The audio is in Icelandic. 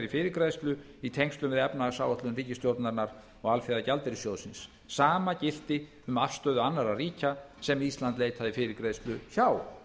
fyrirgreiðslu í tengslum við efnahagsáætlun ríkisstjórnarinnar og alþjóðagjaldeyrissjóðsins sama gilti um afstöðu annarra ríkja sem ísland leitaði fyrirgreiðslu hjá